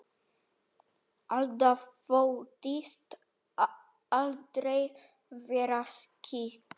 Alda þóttist aldrei vera skyggn.